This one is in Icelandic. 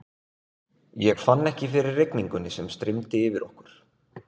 Ég fann ekki fyrir rigningunni sem streymdi yfir okkur.